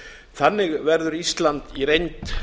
þannig verður ísland í reynd